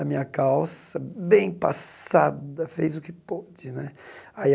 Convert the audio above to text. A minha calça, bem passada, fez o que pôde né. Aí a